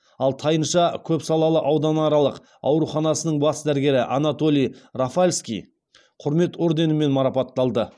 ал тайынша көпсалалы ауданаралық ауруханасының бас дәрігері анатолий рафальский құрмет орденімен марапатталды